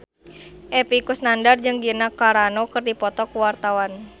Epy Kusnandar jeung Gina Carano keur dipoto ku wartawan